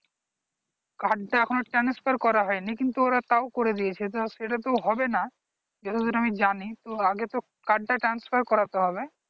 card তা এখনো transfer করা হয় নি কিন্তু ওরা তাও করে দেয়াচ্ছে তা সেটা তো হবে না আবার আমি জানি তো আগে তো card টা transfer করতে হবে